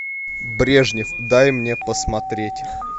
брежнев дай мне посмотреть